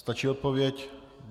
Stačí odpověď?